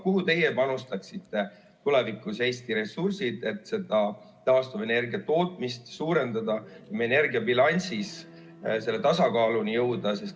Kuhu teie panustaksite tulevikus Eesti ressursid, et seda taastuvenergia tootmist suurendada, energiabilansis tasakaaluni jõuda?